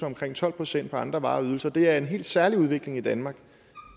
omkring tolv procent på andre varer og ydelser det er en helt særlig udvikling i danmark